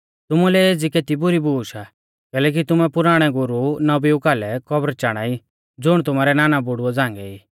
तुमुलै एज़ी केती बुरी बूश आ कैलैकि तुमै पुराणै गुरु नबीऊ कालै कब्र चाणा ई ज़ुण तुमारै नानाबुड़ुऐ झ़ांगै ई